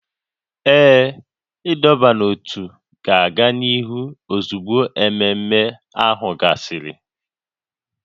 Ee, ịdọba n'ótú ga-aga n'ihu ozugbo ememe ahụ gasịrị